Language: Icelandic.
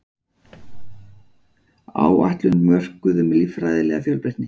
Áætlun mörkuð um líffræðilega fjölbreytni